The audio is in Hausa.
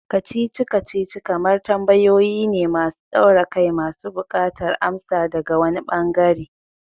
Kacici-kacici kamar tambayoyi ne masu daure kai masu bukatar amsa daga wani ɓangare.